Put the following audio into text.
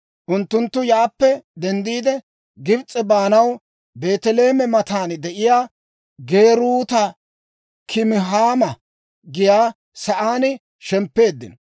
Unttunttu yaappe denddiide, Gibs'e baanaw Beeteleeme matan de'iyaa Geeruuta-Kimhaama giyaa sa'aan shemppeeddino.